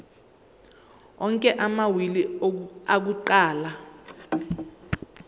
onke amawili akuqala